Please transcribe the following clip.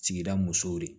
Sigida musow de